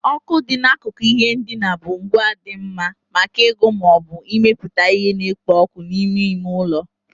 Oku dị n'akụkụ ihe ndina bụ ngwa dị mma maka ịgụ ma ọ bụ ịmepụta ihe na-ekpo ọkụ n'ime ime ụlọ.